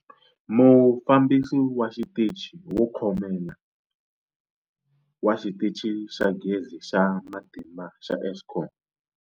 Mufambisi wa Xitichi wo Khomela wa Xitichi xa Gezi xa Matimba xa Eskom.